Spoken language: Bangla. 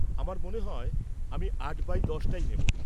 আমার মনে হয় আমি আট বাই দশটাই নেব।